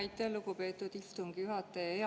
Aitäh, lugupeetud istungi juhataja!